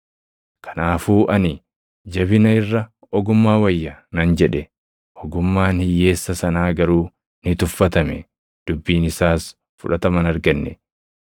Kanaafuu ani, “Jabina irra ogummaa wayya” nan jedhe. Ogummaan hiyyeessa sanaa garuu ni tuffatame; dubbiin isaas fudhatama hin arganne.